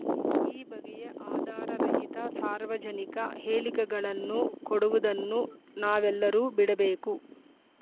ಈ ಬಗೆಯ ಆಧಾರರಹಿತ ಸಾರ್ವಜನಿಕ ಹೇಳಿಕೆಗಳನ್ನು ಕೊಡುವುದನ್ನು ನಾವೆಲ್ಲರೂ ಬಿಡಬೇಕು